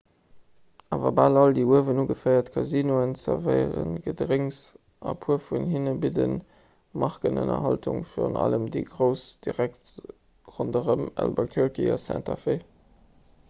awer bal all déi uewen ugeféiert casinoen zerwéiere gedrénks an e puer vun hinne bidde markenënnerhaltung virun allem déi grouss direkt ronderëm albuquerque a santa fe